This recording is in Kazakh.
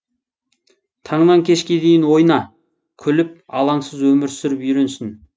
таңнан кешке дейін ойна күліп алаңсыз өмір сүріп үйренсін